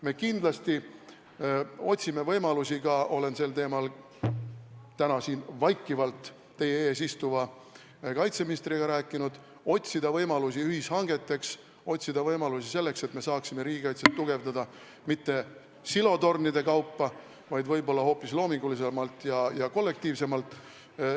Me kindlasti otsime ka võimalusi – olen sel teemal täna siin vaikivalt teie ees istuva kaitseministriga rääkinud – ühishangeteks, otsime võimalusi selleks, et me saaksime riigikaitset tugevdada mitte silotornide kaupa, vaid hoopis loomingulisemalt ja kollektiivsemalt.